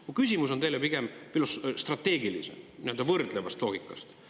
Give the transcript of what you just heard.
Mu küsimus on teile pigem strateegilisem, nii-öelda võrdleva loogika seisukohalt.